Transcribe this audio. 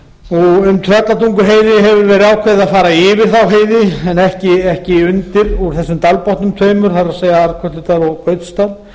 um tröllatunguheiði hefur verið ákveðið að fara yfir þá heiði en ekki undir úr þessum dalbotnunum tveimur það er arnkötludal og gautsdal